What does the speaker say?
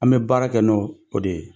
An bɛ baara kɛ n' o de ye,